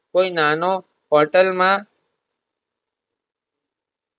કોઈ નાનો hotel માં